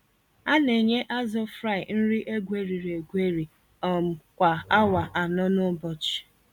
A-nenye azụ Fry nri egweriri-egweri um kwa awa anọ n'ụbọchị.